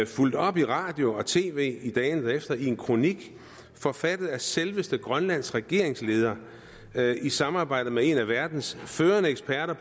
fulgt op i radio og tv i dagene derefter en kronik forfattet af selveste grønlands regeringsleder i samarbejde med en af verdens førende eksperter